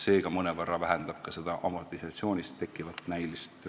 See ka mõnevõrra vähendab seda amortisatsioonist tekkivat näilist miinust.